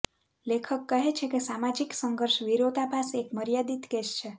લેખક કહે છે કે સામાજિક સંઘર્ષ વિરોધાભાસ એક મર્યાદિત કેસ છે